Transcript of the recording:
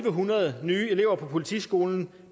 nogen